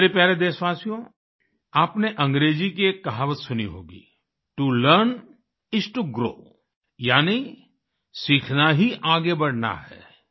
मेरे प्यारे देशवासियो आपने अंग्रेजी की एक कहावत सुनी होगी to learn is to grow यानि सीखना ही आगे बढ़ना है